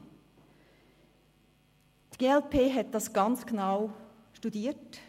Die glp hat das ganz genau studiert.